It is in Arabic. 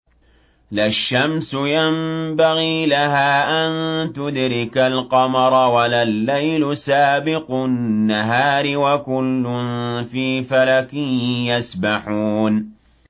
لَا الشَّمْسُ يَنبَغِي لَهَا أَن تُدْرِكَ الْقَمَرَ وَلَا اللَّيْلُ سَابِقُ النَّهَارِ ۚ وَكُلٌّ فِي فَلَكٍ يَسْبَحُونَ